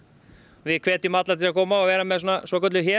við hvetjum alla til að koma og vera með svokölluð